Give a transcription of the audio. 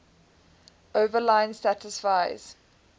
overline satisfies